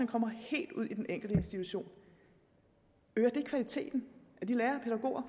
kommer helt ud i den enkelte institution øger det kvaliteten af de lærere